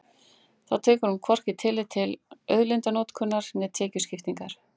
Þá tekur hún hvorki tillit til auðlindanotkunar né tekjuskiptingar.